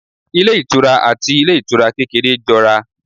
Ilé ìtura àti ilé ìtura kékeré jọ ra